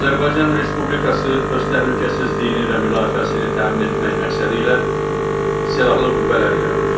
Azərbaycan Respublikası öz təhlükəsizliyini və müdafiəsini təmin etmək məqsədilə silahlı qüvvələr yaradır.